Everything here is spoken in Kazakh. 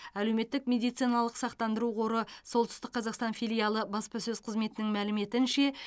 әлеуметтік медициналық сақтандыру қоры солтүстік қазақстан филиалы баспасөз қызметінің мәліметінше